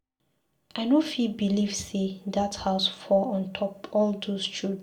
I no fit believe say dat house fall on top all those children